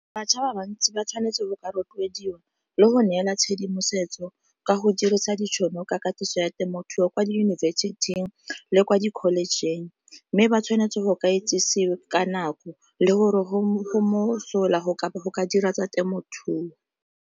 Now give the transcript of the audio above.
Bašwa ba bantsi ba tshwanetse go ka rotloediwa le go neela tshedimosetso ka go dirisa ditšhono ka katiso ya temothuo kwa diyunibesithing le kwa di college-ng, mme ba tshwanetse go ka itsesiwe ka nako le gore go mo go mosola go ka dira tsa temothuo.